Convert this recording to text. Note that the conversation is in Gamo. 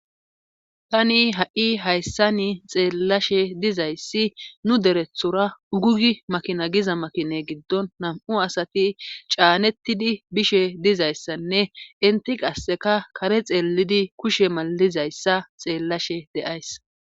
Tani ha'i hayssani xeellashe dizayssi nu derethora ugugi makina giza makine giddon nam'u asati caanettidi bishe dizayssanne inti qasseka kare xeellidi kushe malizayssa xeellashe de'ays